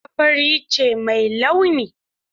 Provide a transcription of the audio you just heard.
Takarda fari ce mai launi.